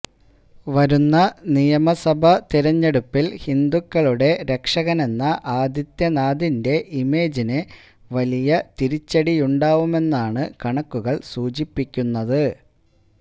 വരുന്ന നിയമസഭാ തിരഞ്ഞെടുപ്പില് ഹിന്ദുക്കളുടെ രക്ഷകനെന്ന ആദിത്യനാഥിന്റെ ഇമേജിന് വലിയ തിരിച്ചടിയുണ്ടാവുമെന്നാണ് കണക്കുകള് സൂചിപ്പിക്കുന്നത്